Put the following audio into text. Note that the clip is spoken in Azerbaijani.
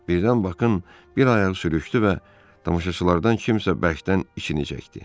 Birdən baxın, bir ayağı sürüşdü və tamaşaçılardan kimsə bərkdən içinə çəkdi.